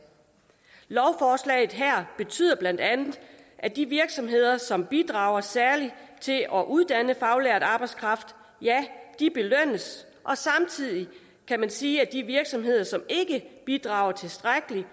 lovforslaget her betyder bla at de virksomheder som bidrager særligt til at uddanne faglært arbejdskraft belønnes og samtidig kan man sige at de virksomheder som ikke bidrager tilstrækkeligt